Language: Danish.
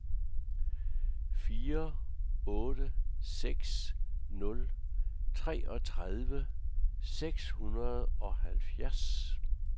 fire otte seks nul treogtredive seks hundrede og halvfjerds